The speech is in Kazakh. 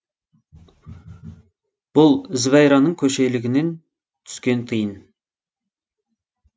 бұл зібайраның көшелегінен түскен тиын